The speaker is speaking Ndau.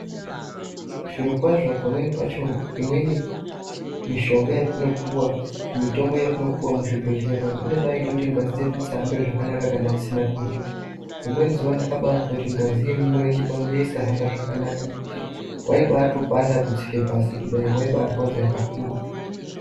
Zvirokwazvo pamweni pacho imweni mishonga yatinopuwa mitombo yatinopuwa muzvibhedhlera umwu inobaite kuti ngazi dzedu dzisahambe zvakanaka kana tisina kurya rimweni zuva ndakabazwa kuti ngazi yemumurenje mangu yaisabahamba zvakanaka nekuti waibatopanda kutsika pasi kudayi waibarwadza kakurutu.